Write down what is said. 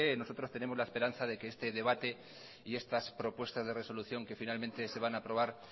nosotros tenemos la esperanza de que este debate y estas propuestas de resolución que finalmente se van a aprobar